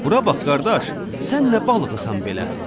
Bura bax qardaş, sən nə balığısan belə?